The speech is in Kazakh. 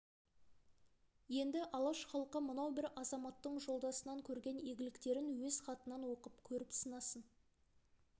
енді алаш халқы мынау бір азаматтың жолдасынан көрген игіліктерін өз хатынан оқып көріп сынасын